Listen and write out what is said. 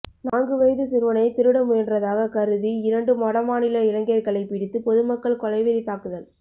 நான்கு வயது சிறுவனை திருடமுயன்றதாக கருதி இரண்டு வடமாநில இளைஞர்களை பிடித்து பொதுமக்கள் கொலை வெறி தாக்குதல்